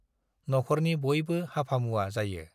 नखरनि बयबो हाफामुवा जायो।